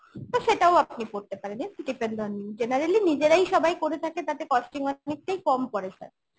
তো সেটাও আপনি করতে পরেন depend on you generally নিজেরাই সবাই করে থাকে তাতে costing অনেকটাই কম পড়ে sir